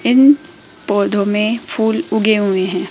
इन पौधों में फूल उगे हुए हैं।